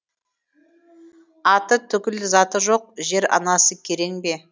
аты түгіл заты жоқ жер анасы керең бе